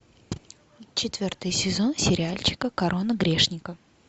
четвертый сезон сериальчика корона грешников